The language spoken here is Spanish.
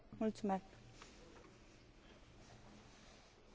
Sí, por supuesto, estoy de acuerdo con mi colega.